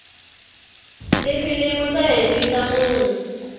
tifilimu ta hembisa munhu